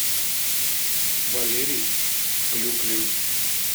валерий клюквин